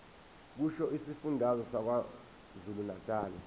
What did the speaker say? kusho isifundazwe sakwazulunatali